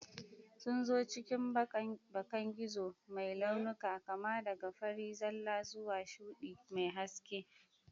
Sun zo cikin bakan gizo mai launuka, kama daga fari zalla zuwa shuɗi mai haske.